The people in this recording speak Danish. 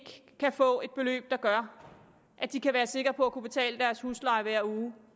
kan få et beløb der gør at de kan være sikre på at kunne betale deres husleje hver måned